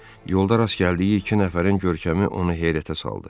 Yolda rast gəldiyi iki nəfərin görkəmi onu heyrətə saldı.